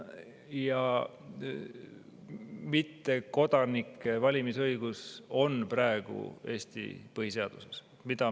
Ja mittekodanike valimisõigus on praegu Eesti põhiseaduses.